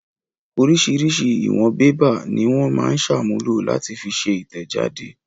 Oríṣiríṣi ìwọ̀n pépà ni wọ́n máa ń ṣàmúlò láti fi ṣe ìtẹ̀jáde.